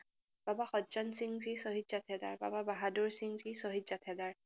বাবা সদজনসিংজী শ্বহীদ জাথেদাৰ, বাবা বাহাদুৰসিংজী শ্বহীদ জাথেদাৰ